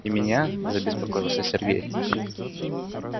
и меня забеспокоился сергей